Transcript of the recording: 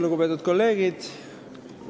Lugupeetud kolleegid!